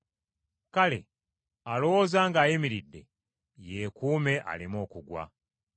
Kale alowooza ng’ayimiridde, yeekuumenga aleme okugwa.